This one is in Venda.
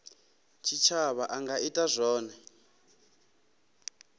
tshitshavha a nga ita zwone